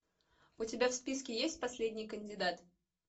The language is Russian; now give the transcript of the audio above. у тебя в списке есть последний кандидат